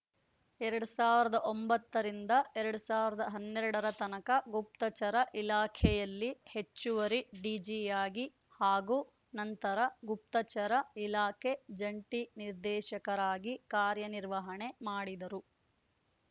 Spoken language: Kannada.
ಎರಡ್ ಸಾವಿರದ ಒಂಬತ್ತ ರಿಂದ ಎರಡ್ ಸಾವಿರದ ಹನ್ನೆರಡರ ತನಕ ಗುಪ್ತಚರ ಇಲಾಖೆಯಲ್ಲಿ ಹೆಚ್ಚುವರಿ ಡಿಜಿಯಾಗಿ ಹಾಗೂ ನಂತರ ಗುಪ್ತಚರ ಇಲಾಖೆ ಜಂಟಿ ನಿರ್ದೇಶಕರಾಗಿ ಕಾರ್ಯನಿರ್ವಹಣೆ ಮಾಡಿದರು